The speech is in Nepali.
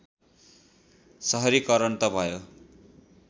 सहरीकरण त भयो